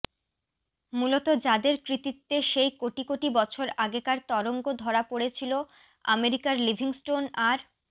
মূলত যাঁদের কৃতিত্বে সেই কোটি কোটি বছর আগেকার তরঙ্গ ধরা পড়েছিল আমেরিকার লিভিংস্টোন আর